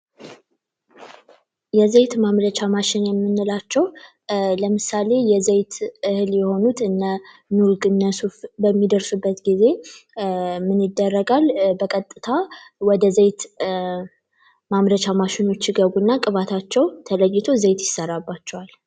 የዘይት ማምረቻ ማሽን የምንላቸው ለምሳሌ የዘይት እህል የሆኑት እነ ኑግ እነሱፍ በሚደርሱበት ጊዜ ምን ይደረጋል በቀጥታ ወደ ዘይት ማምረቻ ማሽኖች ይገቡና ቅባትነታቸው ተለይቶ ዘይት ይሰራባቸዋል።